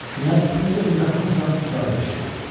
Knyaz öz evində hamıdan uzaq yaşayırdı.